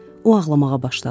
O ağlamağa başladı.